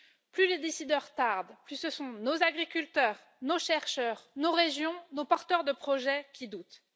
Plus les décideurs tardent, plus ce sont nos agriculteurs, nos chercheurs, nos régions, nos porteurs de projets qui doutent.